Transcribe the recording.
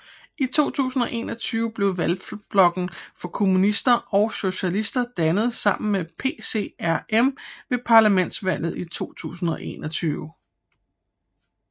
I 2021 blev Valgblokken for Kommunister og Socialister dannet sammen med PCRM ved parlamentsvalget i 2021